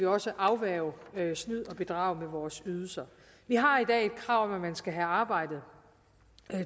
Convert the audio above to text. også afværge snyd og bedrag med vores ydelser vi har i krav om at man skal have arbejdet